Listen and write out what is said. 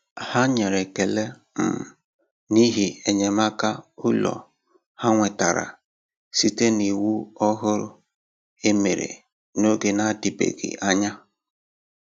Ha nyere ekele um n’ihi enyémàkà ụlọ ha nwetara site n’iwu òhùrù e mere n'oge na-adịbeghị anya.